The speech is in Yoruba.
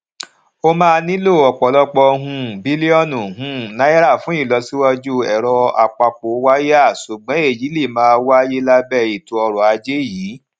o máa nilo òpòlòpò um bilionu um naira fun ilosiwaju eroapapowaya sugbon eyi le maà wáyé labe eto oro aje yii